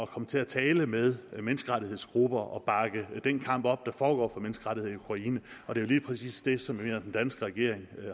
komme til at tale med menneskerettighedsgrupper og bakke den kamp op der foregår for menneskerettigheder i ukraine og det er lige præcis det som jeg den danske regering